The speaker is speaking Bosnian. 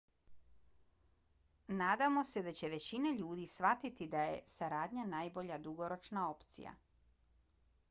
nadamo se da će većina ljudi shvatiti da je saradnja najbolja dugoročna opcija